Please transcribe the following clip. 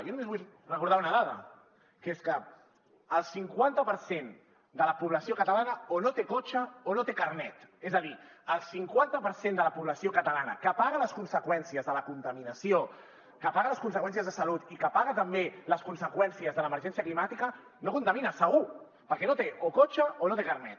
jo només vull recordar una dada que és que el cinquanta per cent de la població catalana o no té cotxe o no té carnet és a dir el cinquanta per cent de la població catalana que paga les conseqüències de la contaminació que paga les conseqüències de salut i que paga també les conseqüències de l’emergència climàtica no contamina segur perquè no té o cotxe o no té carnet